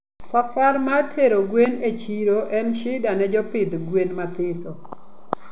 Safar mar tero gwen e chiro en shida ne jopidh gwen mathiso